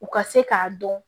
U ka se k'a dɔn